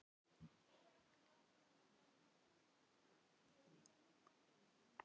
Hann vildi nú ekkert tala um tómata.